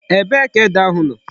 Ebee ka ede ahu no?